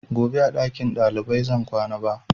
Gobe ba a ɗakin ɗalibai zan kwana ba